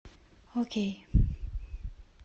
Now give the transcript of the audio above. окей